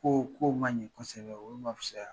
Kow ma ɲi kosɛbɛ, olu ma fisaya